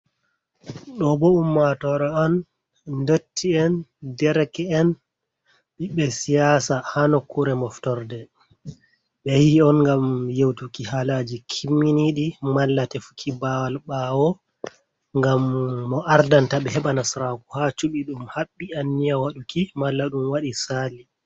Ɗo bo ummatoore on, ndotti'en, dereke'en , himɓe siyaasa, haa nokkuure moftorde. Ɓe yahi on ngam yewtuki haalaaji kimminiiɗi, malla tefuki baawal ɓaawo, ngam mo ardanta ɓe, heɓa nasaraaku haa cuɓi, ɗum haɓɓi anniya waɗuki, malla ɗum waɗi saali.